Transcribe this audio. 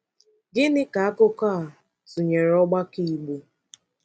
Gịnị ka akụkọ a tụnyere ọgbakọ Igbo?